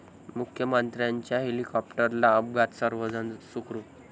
मुख्यमंत्र्यांच्या हेलिकॉप्टरला अपघात, सर्व जण सुखरूप